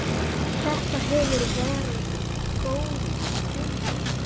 Þetta hefur verið góð byrjun.